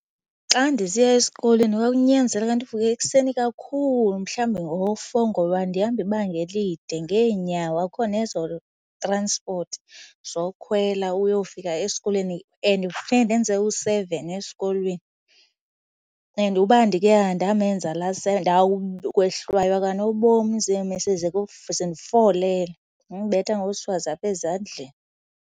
Xa ndisiya esikolweni kwakunyanzeleka ndivuke ekuseni kakhulu mhlawumbi ngo-four ngoba ndihamba ibanga elide ngeenyawo, akukho nezo-transport zokukhwela uyofika esikolweni. And funeka ndenze u-seven esikolweni and uba ndike andamenza laa seven, ndawukwehlwaywa kanobom ziiMiss zindifolele zindibetha ngoswazi apha ezandleni.